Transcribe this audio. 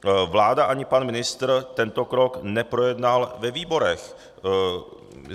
Vláda ani pan ministr tento krok neprojednali ve výborech.